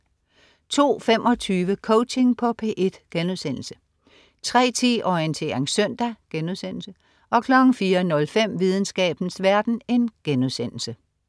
02.25 Coaching på P1* 03.10 Orientering søndag* 04.05 Videnskabens verden*